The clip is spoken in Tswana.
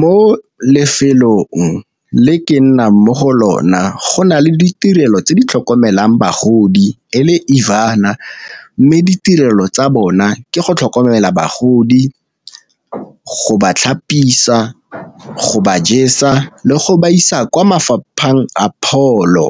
Mo lefelong le ke nnang mo go lona go na le ditirelo tse di tlhokomelang bagodi e le . Mme ditirelo tsa bona ke go tlhokomela bagodi, go ba tlhapisia, go ba jesa le go ba isa kwa mafapheng a pholo.